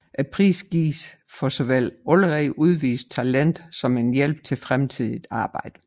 Prisen gives for såvel allerede udvist talent som en hjælp til fremtidigt arbejde